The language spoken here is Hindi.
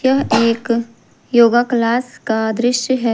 यह एक योगा क्लास का दृश्य है।